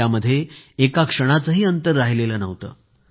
त्यामध्ये एका क्षणाचंही अंतर राहिलेलं नव्हतं